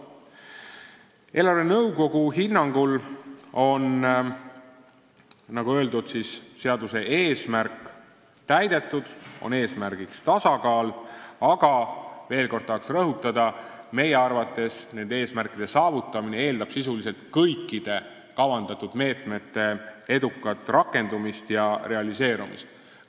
Eelarvenõukogu hinnangul on, nagu öeldud, seaduse eesmärk täidetud – eesmärk on tasakaal –, aga veel kord tahaks rõhutada, et meie arvates eeldab eesmärgi saavutamine sisuliselt kõikide kavandatud meetmete edukat rakendumist ja realiseerumist.